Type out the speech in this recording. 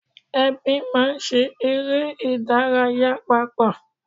Ẹbí máa ń ṣe eré ìdárayá papọ̀